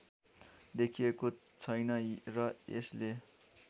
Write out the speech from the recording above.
देखिएको छैन र यसले